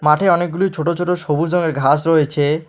মাঠে অনেকগুলি ছোট ছোট সবুজ রঙের ঘাস রয়েছে।